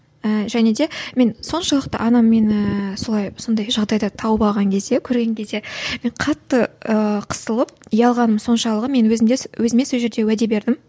ііі және де мен соншалықты анам мені солай сондай жағдайда тауып алған кезде көрген кезде мен қатты ыыы қысылып ұялғаным соншалығы мен өзімде өзіме сол жерде уәде бердім